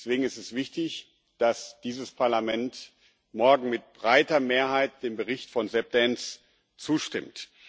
Deswegen ist es wichtig, dass dieses Parlament morgen mit breiter Mehrheit dem Bericht von Seb Dance zustimmt.